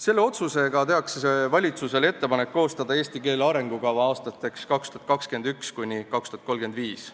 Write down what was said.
Selle otsusega tehakse valitsusele ettepanek koostada eesti keele arengukava aastateks 2021–2035.